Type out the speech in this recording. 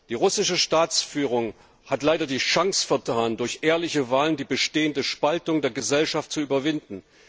Die russische Staatsführung hat leider die Chance vertan, durch ehrliche Wahlen die bestehende Spaltung der Gesellschaft zu überwinden.